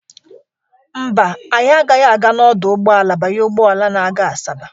Mba, anyị agaghị aga n'ọdụ ụgbọala banye ụgbọala na-aga Asaba.